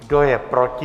Kdo je proti?